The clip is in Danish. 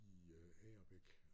I øh Agerbæk